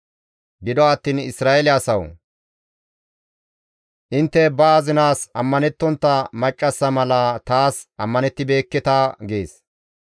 Gido attiin Isra7eele asawu! Intte ba azinaas ammanettontta maccassa mala taas ammanettibeekketa» gees.